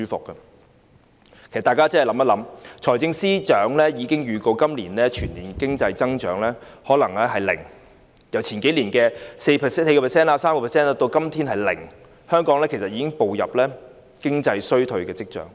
其實大家思考一下，財政司司長已經預告今年的全年經濟增長可能是零，由數年前的 4%、3% 跌至今天的百分之零，香港已經出現步入經濟衰退的跡象。